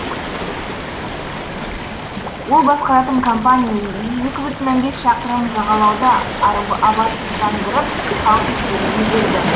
ол басқаратын компания екі жарым шақырым жағалауды абаттандырып халық игілігіне берді